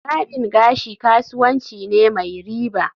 Barbing gashi kasuwanci ne mai riba